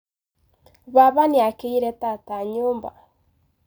Baba nĩakĩire tata nyũmba.